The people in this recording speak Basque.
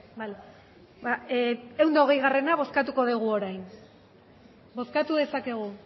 vale ehun eta hogeigarrena bozkatuko dugu orain bozkatu dezakegu